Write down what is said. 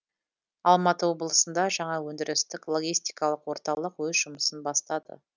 алматы облысында жаңа өндірістік логистикалық орталық өз жұмысын бастады